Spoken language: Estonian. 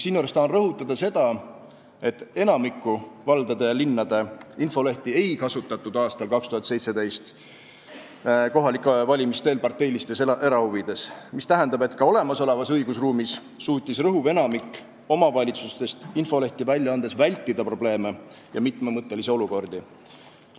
Siinjuures tahan rõhutada seda, et enamiku valdade ja linnade infolehti ei kasutatud aastal 2017 kohalike valimiste eel parteilistes erahuvides, mis tähendab, et ka olemasolevas õigusruumis suutis rõhuv enamik omavalitsustest infolehti välja andes vältida probleeme ja mitmemõttelisi olukordi.